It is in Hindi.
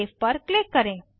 सेव पर क्लिक करें